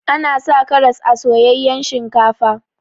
Ana sa karas a soyayyan shinkafa.